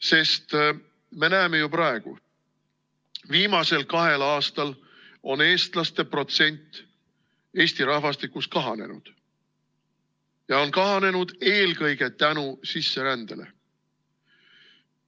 Sest me näeme ju praegu: viimasel kahel aastal on eestlaste protsent Eesti rahvastikus kahanenud ja on kahanenud eelkõige sisserände tõttu.